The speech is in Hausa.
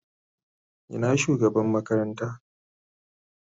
Ina shugabanci makaranta.